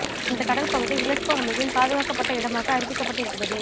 அந்த கடல் பகுதி யுனெஸ்கோ அமைப்பின் பாதுகாக்கப்பட்ட இடமாக அறிவிக்கப்பட்டு இருக்கிறது